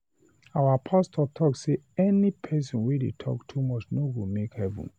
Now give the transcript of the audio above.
The pastor talk say any person wey talk too much no go make heaven